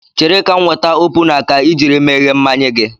Chere ka m weta opuna ka I jiri meghee mmanya gị